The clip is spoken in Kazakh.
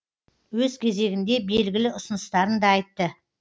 өз кезегінде белгілі ұсыныстарын да айтты